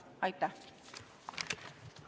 Aitäh!